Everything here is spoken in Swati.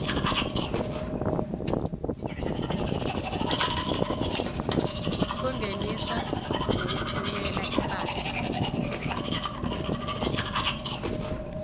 kungenisa nekutfumela imphahla